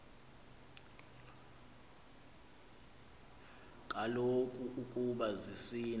kaloku ukoba zisina